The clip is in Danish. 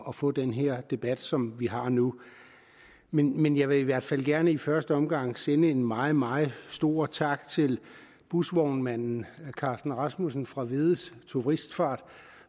at få den debat som vi har nu men men jeg vil i hvert fald gerne i første omgang sende en meget meget stor tak til busvognmanden carsten rasmussen fra vedde turistfart